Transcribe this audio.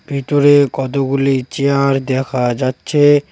ভেতরে কতগুলি চেয়ার দেখা যাচ্ছে।